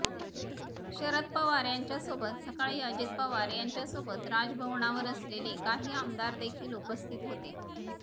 शरद पवार यांच्यासोबत सकाळी अजित पवार यांच्यासोबत राजभवनावर असलेले काही आमदार देखील उपस्थित होते